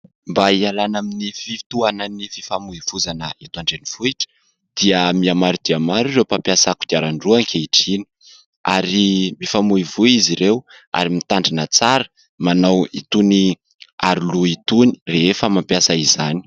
Mba hialana amin'ny fiitohanan' ny fifamoivoizana eto andrenivohitra, dia mihamaro dia maro ireo mpampiasa kodiaran-droa ankehitriny; ary mifamoivoy izy ireo, ary mitandrina tsara manao itony aroloha itony rehefa mampiasa izany.